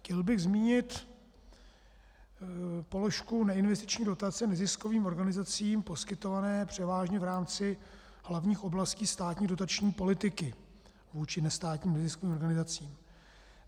Chtěl bych zmínit položku neinvestiční dotace neziskovým organizacím poskytované převážně v rámci hlavních oblastí státní dotační politiky vůči nestátním neziskovým organizacím.